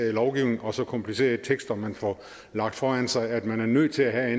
en lovgivning og så komplicerede tekster man får lagt foran sig at man er nødt til at have